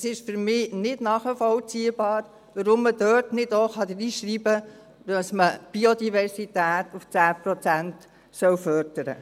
Es ist für mich nicht nachvollziehbar, warum man dort nicht auch hineinschreiben kann, dass man die Biodiversität auf 10 Prozent fördern sollte.